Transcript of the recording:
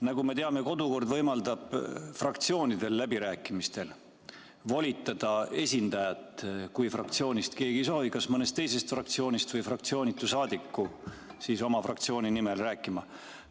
Nagu me teame, kodukord võimaldab fraktsioonidel läbirääkimistel volitada esindajat, kui fraktsioonist keegi ei soovi, kas mõnest teisest fraktsioonist või fraktsioonitu saadiku oma fraktsiooni nimel rääkima.